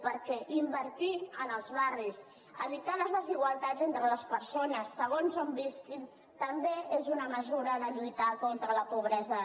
perquè invertir en els barris evitar les desigualtats entre les persones segons on visquin també és una mesura de lluitar contra la pobresa